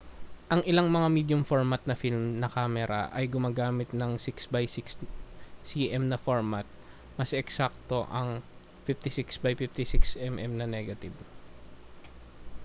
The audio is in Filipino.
ang ilang mga medium-format na film na kamera ay gumagamit ng 6 by 6 cm na format mas eksakto ang 56 by 56 mm na negative